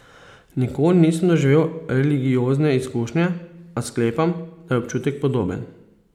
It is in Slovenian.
Nikoli nisem doživel religiozne izkušnje, a sklepam, da je občutek podoben.